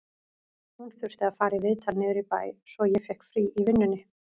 Hún þurfti að fara í viðtal niður í bæ, svo ég fékk frí í vinnunni